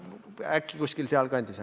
Äkki kuskil seal kandis.